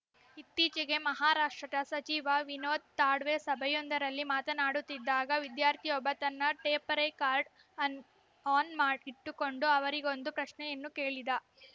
ಇತ್ತೀಚೆಗೆ ಮಹಾರಾಷ್ಟ್ರದ ಸಚಿವ ವಿನೋದ ತಾಡ್ವೇ ಸಭೆಯೊಂದರಲ್ಲಿ ಮಾತನಾಡುತ್ತಿದ್ದಾಗ ವಿದ್ಯಾರ್ಥಿಯೊಬ್ಬ ತನ್ನ ಟೇಪ್‌ರೆಕಾರ್ಡ ಅನ್ ಆನ್‌ ಇಟ್ಟುಕೊಂಡು ಅವರಿಗೊಂದು ಪ್ರಶ್ನೆಯನ್ನು ಕೇಳಿದ